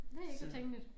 Det ikke så tænkeligt